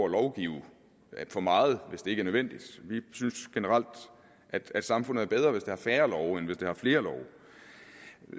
lovgive for meget hvis det ikke er nødvendigt vi synes generelt at samfundet er bedre hvis det har færre love end hvis det har flere love